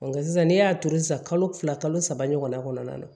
Nka sisan n'e y'a turu sisan kalo fila kalo saba ɲɔgɔnna kɔnɔna na